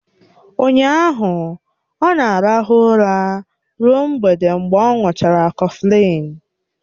Ụnyaahụ ọ na-arahụ ụra ruo mgbede mgbe ọ̀ ṅuchara kọflịn